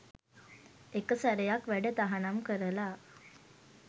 එක සැරයක් වැඩ තහනම් කරල